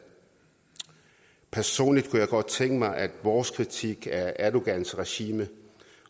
personligt kunne jeg godt tænke mig at vores kritik af erdogans regime